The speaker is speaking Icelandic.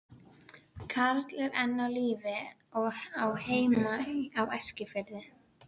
Að baki geta legið fjölmargar orsakir.